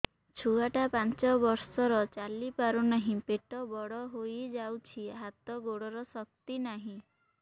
ଛୁଆଟା ପାଞ୍ଚ ବର୍ଷର ଚାଲି ପାରୁନାହଁ ପେଟ ବଡ ହୋଇ ଯାଉଛି ହାତ ଗୋଡ଼ର ଶକ୍ତି ନାହିଁ